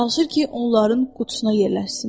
Çalışır ki, onların qutusuna yerləşsin.